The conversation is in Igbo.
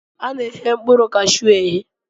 A na-eghe mkpụrụ kashuu eghe